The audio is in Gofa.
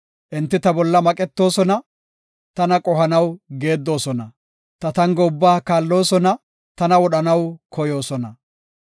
Enti ta bolla maqetoosona; tana qohanaw geeddosona. Ta tango ubba kaalloosona; tana wodhanaw koyoosona.